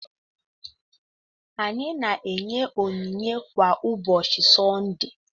Anyị na-enye onyinye kwa ụbọchị Sọnde.